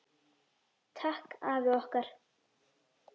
Takk afi okkar.